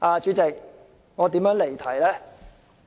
主席，我如何離題呢？